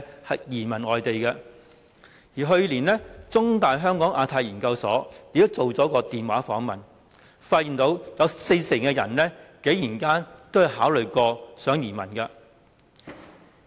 香港中文大學香港亞太研究所去年曾進行電話訪問，發現有四成人曾考慮移民。